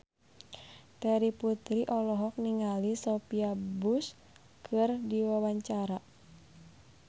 Terry Putri olohok ningali Sophia Bush keur diwawancara